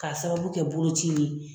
K'a sababu kɛ boloci ye.